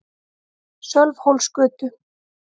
Sölvhólsgötu